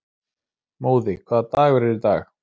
Móði, hvaða dagur er í dag?